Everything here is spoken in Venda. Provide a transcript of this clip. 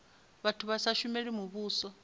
vhathu vha sa shumeli muvhuso